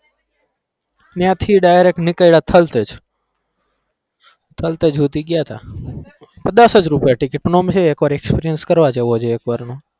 ત્યાંથી direct નીકળ્યા થલતેજ, થલતેજ સુધી ગયા તા, પણ દસ જ રૂપિયા ticket પણ આમ એક વાર experience કરવા જેવો છે એક વારનો.